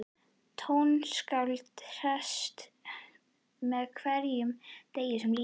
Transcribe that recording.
Tónskáldið hressist með hverjum degi sem líður.